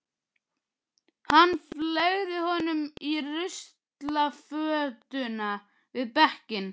Hann fleygði honum í ruslafötuna við bekkinn.